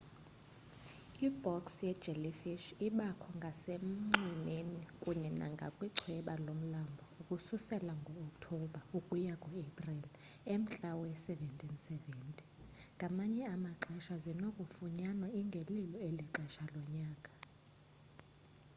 i-box jellyfish ibakho ngasenxwemeni kunye nangakwichweba lomlambo ukususela ngookthobha ukuya kuaprili emntla we-1770 ngamanye amaxesha zinokufunyanwa ingelilo eli xesha lonyaka